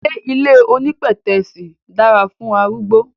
Ṣé ilé onípẹ̀tẹ́sì dára fún arúgbó?